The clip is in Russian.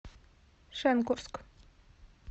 шенкурск